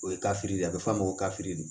O ye kafiri de a bɛ f'a ma ko kafiri de